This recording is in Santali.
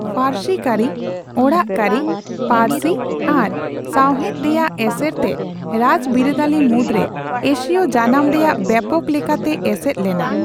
ᱯᱷᱟᱨᱥᱤ ᱠᱟᱹᱨᱤ, ᱚᱲᱟᱜ ᱠᱟᱹᱨᱤ, ᱯᱟᱹᱨᱥᱤ ᱟᱨ ᱥᱟᱸᱣᱦᱮᱛ ᱨᱮᱭᱟᱜ ᱮᱥᱮᱨᱛᱮ ᱨᱟᱡᱽ ᱵᱤᱨᱟᱹᱫᱟᱹᱞᱤ ᱢᱩᱫᱨᱮ ᱮᱥᱤᱭ ᱡᱟᱱᱟᱢ ᱨᱮᱭᱟᱜ ᱵᱮᱯᱚᱠ ᱞᱮᱠᱟᱛᱮ ᱮᱥᱮᱫ ᱞᱮᱱᱟ ᱾